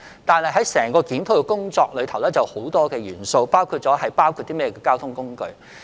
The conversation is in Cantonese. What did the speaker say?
但是，檢討工作還有很多元素，包括納入甚麼交通工具。